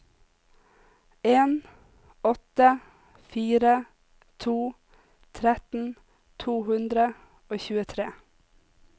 en åtte fire to tretten to hundre og tjuetre